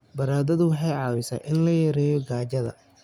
Baradhadu waxay caawisaa in la yareeyo gaajada.